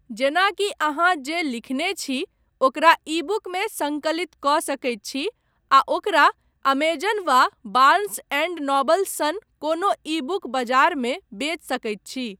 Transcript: जेना कि अहाँ जे लिखने छी ओकरा ईबुकमे संकलित कऽ सकैत छी आ ओकरा अमेजन वा बार्न्स एंड नोबल्स सन कोनो ईबुक बाजारमे बेच सकैत छी।